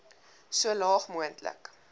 so laag moontlik